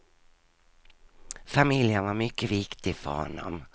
Familjen var mycket viktig för honom.